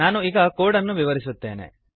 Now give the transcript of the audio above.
ನಾನು ಈಗ ಕೋಡ್ ಅನ್ನು ವಿವರಿಸುತ್ತೇನೆ